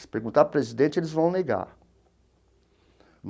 Se perguntar para o presidente, eles vão negar.